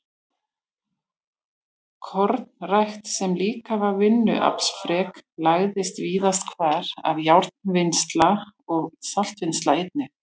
Kornrækt, sem líka var vinnuaflsfrek, lagðist víðast hvar af, járnvinnsla og saltvinnsla einnig.